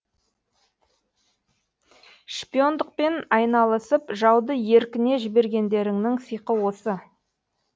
шпиондықпен айналысып жауды еркіне жібергендеріңнің сиқы осы